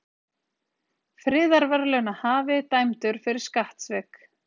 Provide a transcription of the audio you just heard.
Friðarverðlaunahafi dæmdur fyrir skattsvik